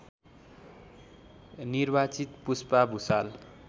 निर्वाचित पुष्पा भुसाल